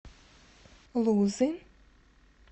лузы